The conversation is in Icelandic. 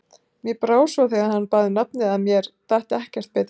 Mér brá svo þegar hann bað um nafnið, að mér datt ekkert betra í hug.